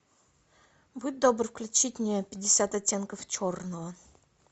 будь добр включить мне пятьдесят оттенков черного